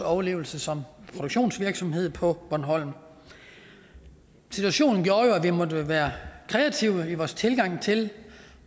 overlevelse som produktionsvirksomhed på bornholm situationen gjorde jo at vi måtte være kreative i vores tilgang til